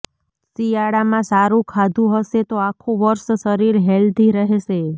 શિયાળામાં સારું ખાધું હશે તો આખું વર્ષ શરીર હેલ્ધી રહેશે